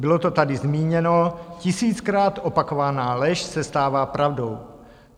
Bylo to tady zmíněno, tisíckrát opakovaná lež se stává pravdou.